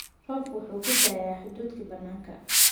Roobku wuxuu ku da'ayaa hadhuudhkii bannaanka.